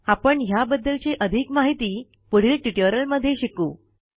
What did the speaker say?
आपण ह्या बद्दलची अधिक माहिती पुढील ट्युटोरियलमध्ये शिकू